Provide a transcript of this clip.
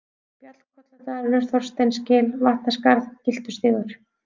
Bjallkolludalur, Þorsteinsgil, Vatnaskarð, Gyltustígur